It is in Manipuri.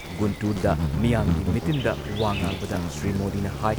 ꯒꯨꯟꯇꯨꯔꯗ ꯃꯤꯌꯥꯝꯒꯤ ꯃꯤꯇꯤꯟꯗ ꯋꯥ ꯉꯥꯡꯕꯗ ꯁ꯭ꯔꯤ ꯃꯣꯗꯤꯅ ꯍꯥꯏ